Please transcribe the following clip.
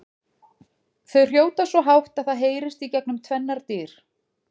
Þau hrjóta svo hátt að það heyrist gegnum tvennar dyr!